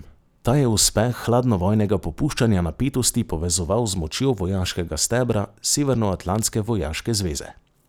Ta je uspeh hladnovojnega popuščanja napetosti povezoval z močjo vojaškega stebra severnoatlantske vojaške zveze.